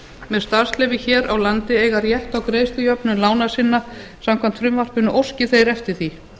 með starfsleyfi hér á landi eiga rétt á greiðslujöfnun lána sinna samkvæmt frumvarpinu óski þeir eftir því